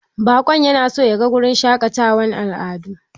Baƙon yana son ya ga wurin shaƙatawar al'adu.